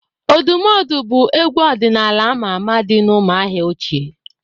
Òdùmódù bụ égwú ọdịnala ámá àmà dị n'Ụ́mụ̀ahịà ochie.